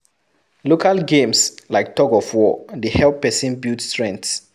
Local games like thug of war dey help person build strength